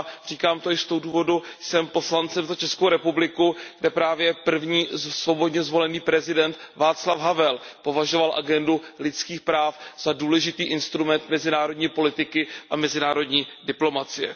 Říkám to i z toho důvodu, že jsem poslancem za Českou republiku, kde právě první svobodně zvolený prezident Václav Havel považoval agendu lidských práv za důležitý instrument mezinárodní politiky a mezinárodní diplomacie.